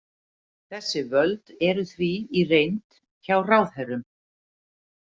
Þessi völd eru því í reynd hjá ráðherrum.